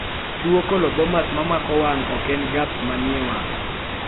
tuwo colobomas mamako wang' ok en gaps manie wamg'